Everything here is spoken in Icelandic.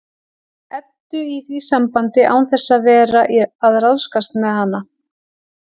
Eddu í því sambandi án þess að vera að ráðskast með hana.